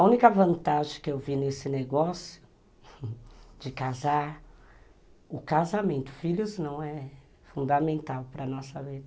A única vantagem que eu vi nesse negócio de casar, o casamento, filhos não é fundamental para a nossa vida.